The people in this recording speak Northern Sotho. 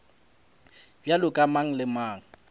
bjalo ka mang le mang